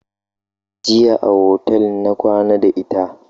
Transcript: Jiya a otal na kwana da ita.